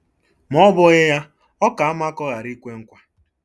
Ma ọ́ bụghị ya, ọ ka mma ka ọ ghara ikwe nkwa.